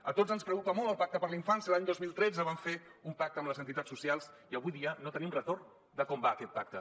a tots ens preocupa molt el pacte per la infància l’any dos mil tretze vam fer un pacte amb les entitats socials i avui dia no tenim retorn de com va aquest pacte